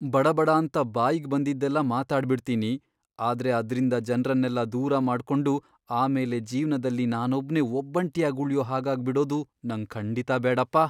ಬಡಬಡಾಂತ ಬಾಯಿಗ್ ಬಂದಿದ್ದೆಲ್ಲ ಮಾತಾಡ್ಬಿಡ್ತೀನಿ, ಆದ್ರೆ ಅದ್ರಿಂದ ಜನ್ರನ್ನೆಲ್ಲ ದೂರ ಮಾಡ್ಕೊಂಡು ಆಮೇಲೆ ಜೀವ್ನದಲ್ಲಿ ನಾನೊಬ್ನೇ ಒಬ್ಬಂಟಿಯಾಗ್ ಉಳ್ಯೋ ಹಾಗಾಗ್ಬಿಡೋದು ನಂಗ್ ಖಂಡಿತಾ ಬೇಡಪ್ಪ.